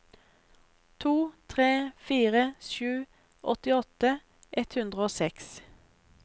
to tre fire sju åttiåtte ett hundre og seks